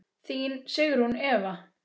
Þín Sigrún Eva.